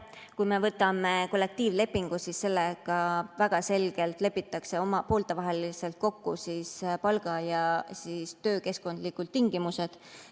Kui me võtame kollektiivlepingu, siis sellega väga selgelt lepitakse poolte vahel kokku palga‑ ja töökeskkonnatingimused.